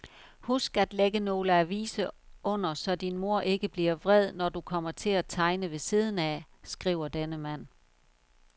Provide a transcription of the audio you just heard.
Husk at lægge nogle aviser under, så din mor ikke bliver vred, når du kommer til at tegne ved siden af, skriver denne mand.